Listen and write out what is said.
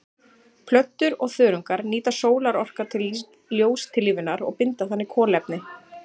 Plöntur og þörungar nýta sólarorka til ljóstillífunar og binda þannig kolefni.